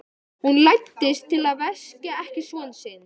Hún læddist til að vekja ekki son sinn.